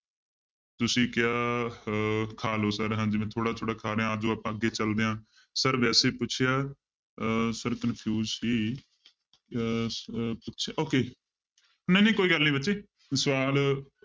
ਤੁਸੀਂ ਕਿਹਾ ਅਹ ਖਾ ਲਓ sir ਹਾਂਜੀ ਮੈਂ ਥੋੜ੍ਹਾ ਥੋੜ੍ਹਾ ਖਾ ਰਿਹਾਂ ਆ ਜਾਓ ਆਪਾਂ ਅੱਗੇ ਚੱਲਦੇ ਹਾਂ sir ਵੈਸੇ ਪੁੱਛਿਆ ਅਹ sir confuse ਸੀ ਅਹ ਅਹ ਪੁੱਛਿਆ okay ਨਹੀਂ ਨਹੀਂ ਕੋਈ ਗੱਲ ਨੀ ਬੱਚੇ ਸਵਾਲ